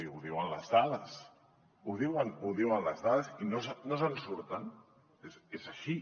ho diuen les dades ho diuen les dades i no se’n surten és així